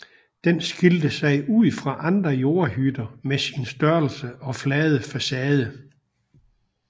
Den skilte sig ud fra andre jordhytter med sin størrelse og flade facade